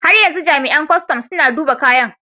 Har yanzu jami'an kustum suna duba kayan.